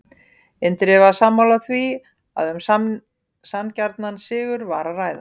Indriði var sammála því að um sanngjarnan sigur var að ræða.